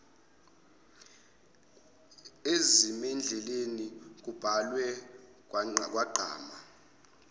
ezimendleni kubhalwe kwagqama